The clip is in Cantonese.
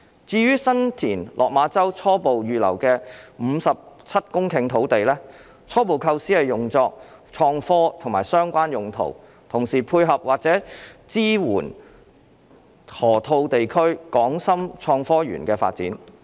至於在新田/落馬洲初步預留的約57公頃土地，初步構思是用作創科和相關用途，同時配合或者支援河套地區港深創科園的發展。